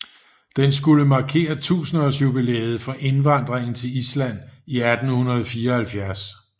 Den skulle markere tusindeårsjubilæet for indvandringen til Island i 1874